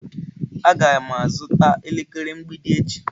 Aga m azụta elekere mgbidi echi.